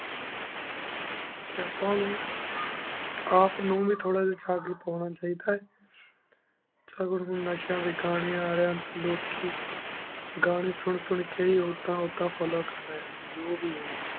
T ਅਪਾ ਉਨੂ ਆਪਨੂ ਵੀ ਥੋਰਾ ਜੇਹਾ ਸਬੇਤ ਹੁਣ ਚਾਹੇਦਾ ਆਯ ਟੀ ਹੂਰ ਨਸ਼ਾ ਵੇਖਾਂਯਨ ਅਲੇਯਾਂ ਤੂੰ ਰੁਕ ਕੀ ਘੰਯਨ ਸੁਨ ਸੁਨ ਕੀ ਹੀ ਉੜਾਨ ਇਦਾਂ follow ਕਰ ਡੀ ਆਂ ਜੋ ਵੀ ਹੁਵ੍ਯ